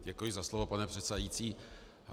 Děkuji za slovo, pane předsedající.